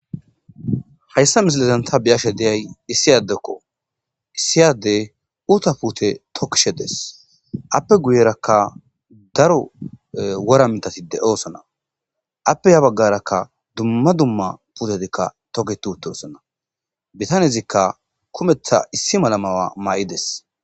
Hayssa misilezanta biyashe deyay issiyadekko issiyade uta pute tokishe des appe guyerakka daro wora mitatide oosona appe ya baggarakka dumma dumma putedikka togetuute oosona bitanyezikka kumetha issi malamawa maa'ides.